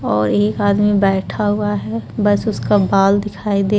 और एक आदमी बैठा हुआ है बस उसका बाल दिखाई दे --